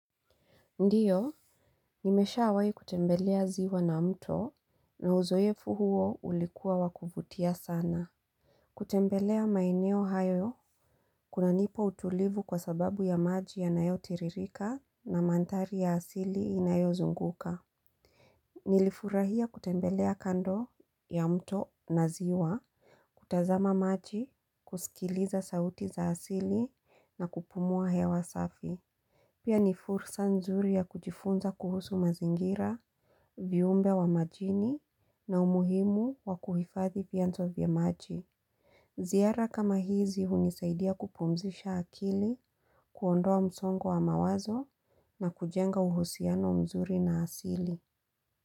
Ndiyo, nimesha wai kutembelea ziwa na mto, na uzoefu huo ulikuwa wakuvutia sana. Kutembelea maeneo hayo, kuna nipa utulivu kwa sababu ya maji ya nayo tiririka na mandhari ya asili inayo zunguka. Nilifurahia kutembelea kando ya mto na ziwa, kutazama maji, kusikiliza sauti za asili na kupumua hewa safi. Pia ni fursa nzuri ya kujifunza kuhusu mazingira, viumbe wa majini na umuhimu wa kuhifadhi vianzo vya maji. Ziara kama hizi hunisaidia kupumzisha akili, kuondoa msongwa wa mawazo na kujenga uhusiano mzuri na asili.